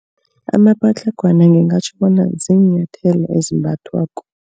Amapatlagwana ngingatjho bona ziinyathelo ezimbathwako.